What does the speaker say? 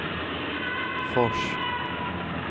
Fors